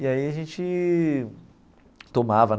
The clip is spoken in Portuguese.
E aí a gente tomava.